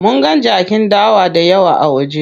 Munga jakin dawa dayawa a waje.